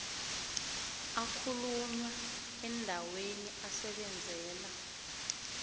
akhulunywa endaweni asebenzela